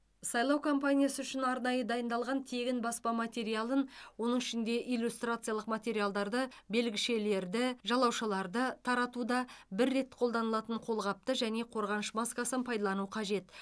сайлау компаниясы үшін арнайы дайындалған тегін баспа материалын оның ішінде иллюстрациялық материалдарды белгішелерді жалаушаларды таратуда бір рет қолданылатын қолғапты және қорғаныш маскасын пайдалану қажет